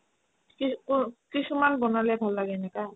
কিছুমান বনালে ভাল লাগে এনেকা